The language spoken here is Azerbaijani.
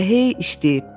Elə hey işləyib.